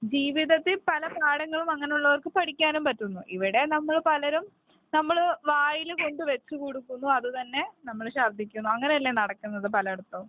ജീവിതത്തില് പല പാഠങ്ങളും അങ്ങനെയുള്ളവർക്ക് പഠിക്കാനും പറ്റുന്നു ഇവിടെ നമ്മൾ പലരും നമ്മൾ വായിൽ കൊണ്ട് വച്ചുകൊടുക്കുന്നു അതുതന്നെ നമ്മളെ ശർദ്ദിക്കുന്നു അങ്ങനെയല്ലേ നടക്കുന്നത് പലയിടത്തും